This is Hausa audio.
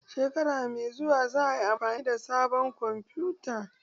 Shekara mai zuwa za a yi amfani da sabon kwamfuta